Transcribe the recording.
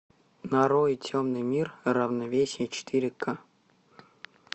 нарой темный мир равновесие четыре ка